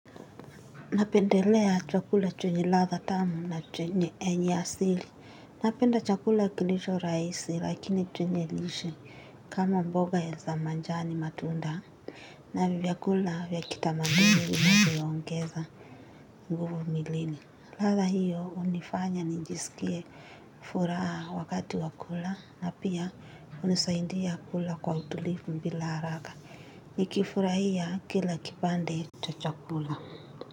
Napendelea chakula chenye ladha tamu na yenye asili. Napenda chakula kilicho rahisi lakini chenye lishe kama mboga za majani matunda. Na vyakula vya kitamaduni vinavyoongeza nguvu mwilini. Ladha hiyo hunifanya nijisikie furaha wakati wa kula na pia hunisaidia kula kwa utulivu bila haraka. Nikifurahia kila kipande cha chakula.